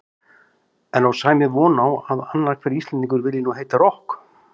En á Sæmi von á að annar hver Íslendingur vilji nú heita rokk?